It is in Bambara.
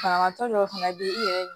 Banabagatɔ dɔw fana bɛ i yɛrɛ